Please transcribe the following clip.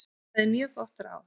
Það er mjög gott ráð.